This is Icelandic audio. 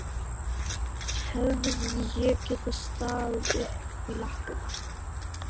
Hefði ég getað staðið í lappirnar?